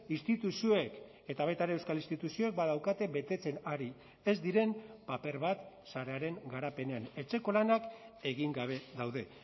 instituzioek eta baita ere euskal instituzioek badaukate betetzen ari ez diren paper bat sarearen garapenean etxeko lanak egin gabe daude